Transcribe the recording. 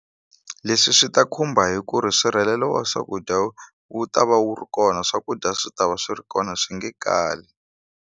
Leswi swi ta khumba hi ku ri nsirhelelo wa swakudya wu ta va wu ri kona swakudya swi ta va swi ri kona swi nge kali.